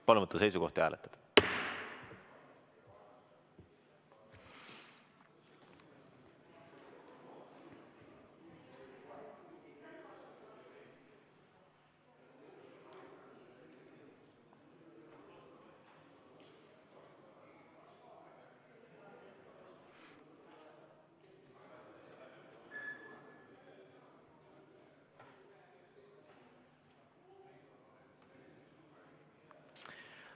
Palun võtta seisukoht ja hääletada!